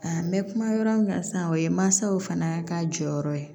A n bɛ kuma yɔrɔ min kan sisan o ye mansaw fana ka jɔyɔrɔ ye